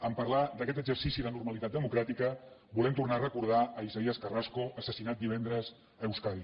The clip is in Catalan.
en parlar d’aquest exercici de normalitat democràtica volem tornar a recordar isaías carrasco assassinat divendres a euskadi